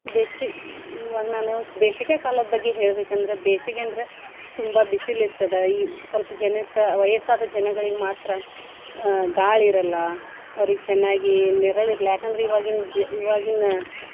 ಬೇಸಿ~ ಇವಾಗ್ ನಾನು ಬೇಸಿಗೆ ಕಾಲದ್ ಬಗ್ಗೆ ಹೇಳ್ಬೇಕಂದ್ರ, ಬೇಸಿಗೆ ಅಂದ್ರ ಪ್ಚ ತುಂಬಾ ಬಿಸಿಲ್ ಇರ್ತದ ಈ ಸ್ವಲ್ಪ ಜನಕ್ಕ ವಯಸ್ಸಾದ್ ಜನಗಳಿಗೆ ಮಾತ್ರಾ ಆ ಗಾಳಿ ಇರಲ್ಲಾ ಅವ್ರಿಗ್ ಚನ್ನಾಗಿ ನೆರ್ಳಿಲ್ಲ ಯಾಕಂದ್ರ ಇವಾಗಿನ್ ಜಿ~ ಇವಾಗಿನ .